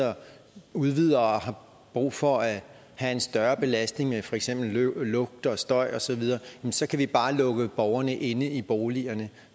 udvider og har brug for at have en større belastning af for eksempel lugt og støj osv så kan vi bare lukke borgerne inde i boligerne